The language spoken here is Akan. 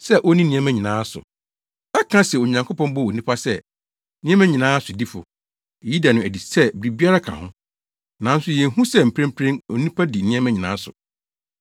sɛ onni nneɛma nyinaa so.” Ɛka se Onyankopɔn bɔɔ onipa sɛ, “Nneɛma nyinaa sodifo,” eyi da no adi sɛ biribiara ka ho. Nanso yenhu sɛ mprempren onipa di nneɛma nyinaa so.